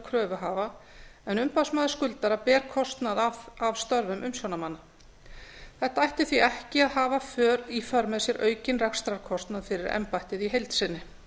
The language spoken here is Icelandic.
kröfuhafa en umboðsmaður skuldara ber kostnað af störfum umsjónarmanna þetta ætti því ekki að hafa í för með sér aukinn rekstrarkostnað fyrir embættið í heild sinni